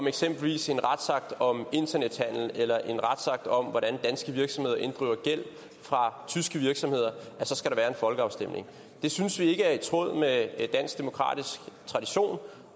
eksempelvis en retsakt om internethandel eller en retsakt om hvordan danske virksomheder inddriver gæld fra tyske virksomheder så skal være en folkeafstemning det synes vi ikke er i tråd med dansk demokratisk tradition